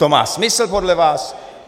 To má smysl podle vás?